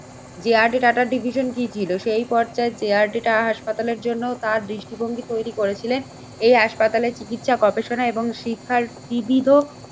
যে R D টাটার division কি ছিল? সেই পর্চায় যে আর ডি টাটাস হাসপাতালের জন্য তার দৃষ্টিভঙ্গি তৈরি করেছিলেন। এই হাসপাতালে চিকিৎসা গবেষণা এবং শিক্ষার বিবিধ